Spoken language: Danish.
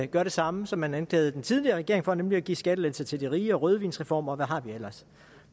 gøre det samme som man anklagede den tidligere regering for nemlig at give skattelettelser til de rige lave rødvinsreformer og hvad har vi ellers